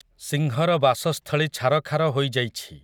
ସିଂହର ବାସସ୍ଥଳୀ ଛାରଖାର ହୋଇଯାଇଛି ।